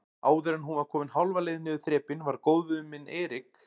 Áðuren hún var komin hálfa leið niður þrepin var góðvinur minn Erik